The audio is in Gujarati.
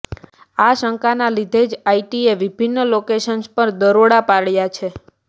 આ શંકાના લીધે જ આઇટીએ વિભિન્ન લોકેશન્સ પર દરોડા પાડ્યા છે